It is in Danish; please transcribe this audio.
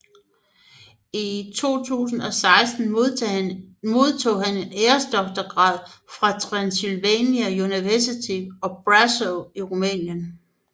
I 2016 modtog han en æresdoktorgrad fra Transilvania University of Brasov i Rumænien